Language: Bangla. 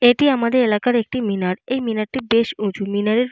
এটি আমাদের এলাকার একটি মিনার। এই মিনারটি বেশ উঁচু। মিনারের।